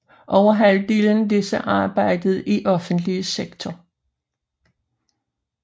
Over halvdelen af disse arbejdede i offentlig sektor